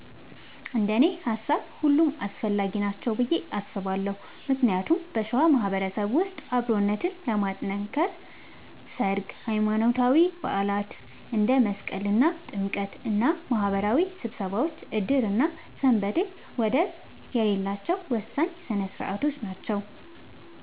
እንደኔ ሃሳብ ሁሉም አስፈላጊ ናቸው ብዬ አስባለሁ ምክንያቱም በሸዋ ማህበረሰብ ውስጥ አብሮነትን ለማጥከር ሠርግ፣ ሃይማኖታዊ በዓላት እንደ መስቀልና ጥምቀት እና ማህበራዊ ስብሰባዎች ዕድርና ሰንበቴ ወደር የሌላቸው ወሳኝ ሥነ ሥርዓቶች ናቸው።